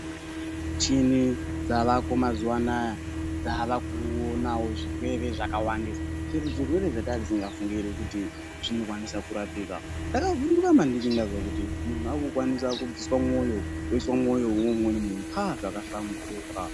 Michini dzavako mazuvanaya dzavakuonawo zvirwere zvakawandisa. Zvimwe zvirwere zvetange tisingafungiri kuti zvinokwanisa kurapika. Ndakavhunduka maningi ndazwa kuti muntu wakukwanisa kubviswa mwoyo woiswa mwoyo weumweni muntu, haa zvakahamburuka.